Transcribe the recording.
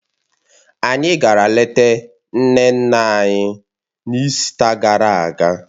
Anyị gara lete nne nne anyị, n'ịsita gara aga